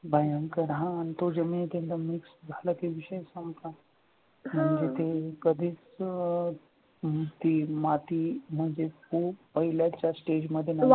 भयंकर आणि तो हा आणि तो जमिनीमध्ये mix झाला की विषय संपला म्हणजे ते कधीच अह नुसती माती म्हणजे तो पहिल्या stahge मध्ये